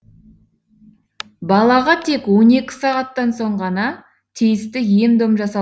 балаға тек он екі сағаттан соң ғана тиісті ем дом жасал